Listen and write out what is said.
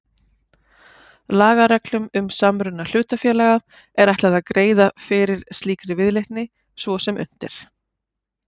Lagareglum um samruna hlutafélaga er ætlað að greiða fyrir slíkri viðleitni svo sem unnt er.